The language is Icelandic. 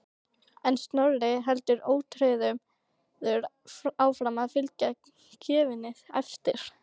En Snorri heldur ótrauður áfram að fylgja gjöfinni eftir.